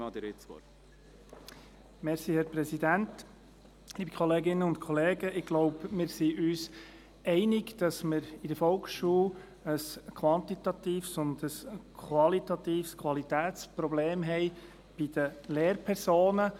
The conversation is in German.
Ich denke, wir sind uns darin einig, dass wir in der Volksschule bei den Lehrpersonen ein quantitatives und qualitatives Problem haben.